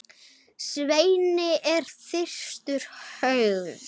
Svenni er þungt hugsi.